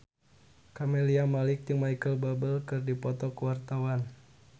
Camelia Malik jeung Micheal Bubble keur dipoto ku wartawan